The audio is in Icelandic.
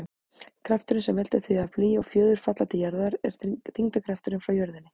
Krafturinn sem veldur því að blý og fjöður falla til jarðar er þyngdarkrafturinn frá jörðinni.